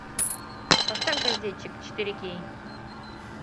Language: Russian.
поставь газетчик четыре кей